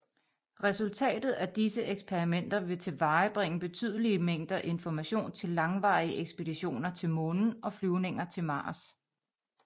Resultatet af disse eksperimenter vil tilvejebringe betydelige mængder information til langvarige ekspeditioner til Månen og flyvninger til Mars